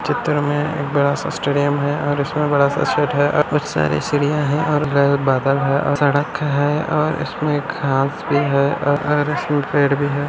इस चित्र में एक बड़ा स्टेडियम है और इतना बड़ा सा सेट है और सारी चिड़िया है और बादल है और सड़क है और इसमें घास भी है।